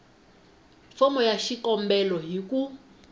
fomo ya xikombelo hi ku